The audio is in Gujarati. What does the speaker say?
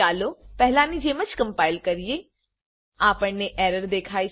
ચાલો પહેલાની જેમ જ કમ્પાઈલ કરીએ આપણને એરર દેખાય છે